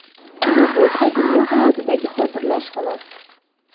Bu bo‘lsa, dunyo hayotidagi xotirlash xolos.